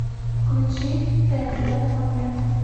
включить тнв планета